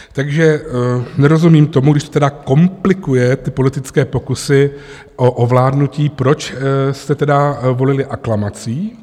Takže nerozumím tomu, když to tedy komplikuje ty politické pokusy o ovládnutí, proč jste tedy volili aklamací?